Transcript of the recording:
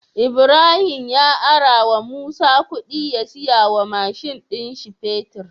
Ibahim ya arawa musa kudi ya siya wa mashin din shi fetir